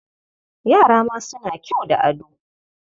Yara ma suna kyau da ado.